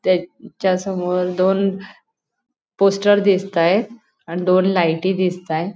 त्याच्यासमोर दोन पोस्टर दिसतायेत अन दोन लाईटी दिसतायेत.